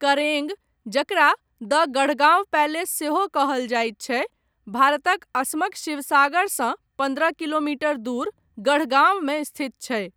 करेंग, जकरा द गढ़गांव पैलेस सेहो कहल जायत छै, भारतक असमक शिवसागरसँ पन्द्रह किलोमीटर दूर गढ़गांवमे स्थित छै।